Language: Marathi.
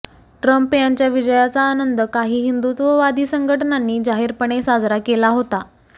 ट्रम्प यांच्या विजयाचा आनंद काही हिंदुत्ववादी संघटनांनी जाहीरपणे साजरा केला होता